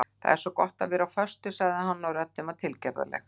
Það er svo gott að vera á föstu sagði hann og röddin var tilgerðarleg.